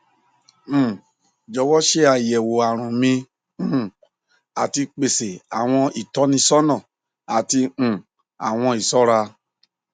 um jọwọ ṣe ayẹwo arun mi um ati pese awọn itọnisọna ati um awọn iṣọra